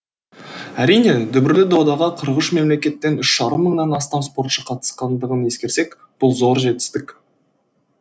әрине дүбірлі додаға қырық үш мемлекеттен үш жарым мыңнан астам спортшы қатысқандығын ескерсек бұл зор жетісітік